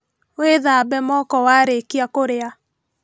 Wĩthambe moko warĩkia kũrĩa